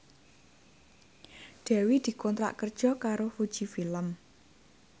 Dewi dikontrak kerja karo Fuji Film